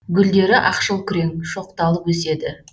гүлдері ақшыл күрең шоқталып өседі